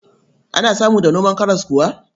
Ana samu da noman karas kuwa?